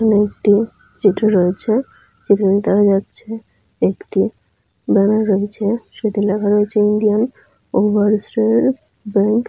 এখানে একটি চিত্র রয়েছে। চিত্রটিতে দেখা যাচ্ছে একটি ব্যানার রয়েছে। সেটি লেখা রয়েছে ইন্ডিয়ান ওভারসীজ ব্যাঙ্ক ।